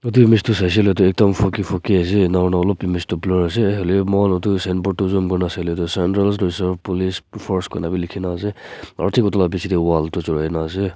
etu mist tu saishe hoile toh ekdam foggy foggy enya aurna olop tu mist tu blue ase hoilewi moihan etu signboard tutu saile tu central reserve police force kuina wi likhina ase aro thik etu la pichete wall dhuri na ase.